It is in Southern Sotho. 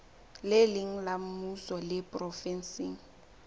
leng la mmuso le provenseng